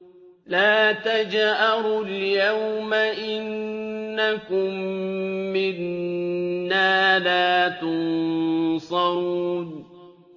لَا تَجْأَرُوا الْيَوْمَ ۖ إِنَّكُم مِّنَّا لَا تُنصَرُونَ